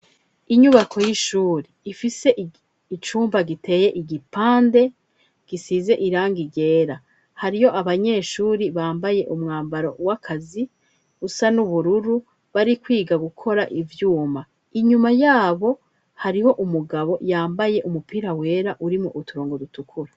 Inyubako y'ishuri ifise icumba giteye igipande gisize irangi ryera. Hariho abanyeshuri bambaye umwambaro w'akazi usa n'ubururu, bari kwiga gukora ivyuma. Inyuma y'abo, hariho umugabo yambaye umupira wera urimwo uturongo dutukura.